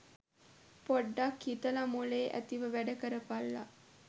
පොඩ්ඩ්ක් හිතලා මොලේ ඇතිව වැඩ කරපල්ලා.